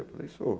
Eu falei, sou.